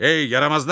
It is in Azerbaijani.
Hey, yaramazlar!